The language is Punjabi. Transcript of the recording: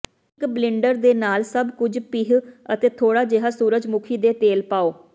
ਇੱਕ ਬਲਿੰਡਰ ਦੇ ਨਾਲ ਸਭ ਕੁਝ ਪੀਹ ਅਤੇ ਥੋੜਾ ਜਿਹਾ ਸੂਰਜਮੁਖੀ ਦੇ ਤੇਲ ਪਾਓ